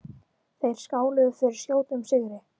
Þeir skáluðu fyrir skjótum sigri.